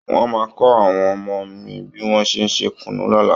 Wọ́n máa kọ́ àwọn ọmọ mi bí wọ́n ṣe ń ṣe kùnú lọ́la